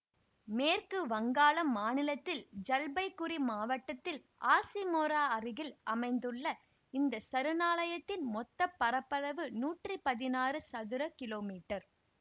மேற்கு வங்காளம் மாநிலத்தில் ஜல்பைகுரி மாவட்டத்தில் ஹாசிமாரா அருகில் அமைந்துள்ள இந்த சரணாலயத்தின் மொத்தப்பரப்பளவு நூற்றி பதினாறு சதுர கிலோமீட்டர்